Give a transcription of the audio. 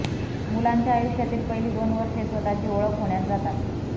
मुलांच्या आयुष्यातील पहिली दोन वर्षे स्वतःची ओळख होण्यात जातात